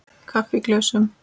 Kaffi í glösum.